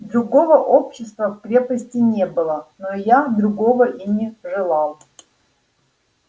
другого общества в крепости не было но я другого и не желал